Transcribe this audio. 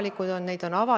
Lugupeetud istungi juhataja!